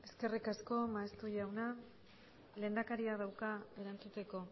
eskerrikasko maeztu jauna lehendakaria dauka erantzuteko